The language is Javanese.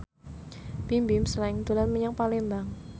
Bimbim Slank dolan menyang Palembang